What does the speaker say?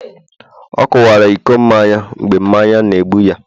ọ kuwara iko n'anya, mgbe mmanya n' egbu ya